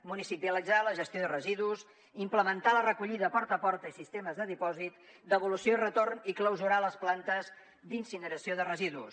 municipalitzar la gestió de residus implementar la recollida porta a porta i sistemes de dipòsit devolució i retorn i clausurar les plantes d’incineració de residus